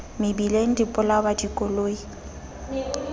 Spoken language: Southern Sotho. mebileng di bolawa ke dikoloi